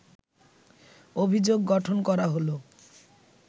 অভিযোগ গঠন করা হলো